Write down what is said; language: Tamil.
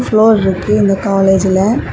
ப்ளோர் இருக்கு இந்த காலேஜ்ல .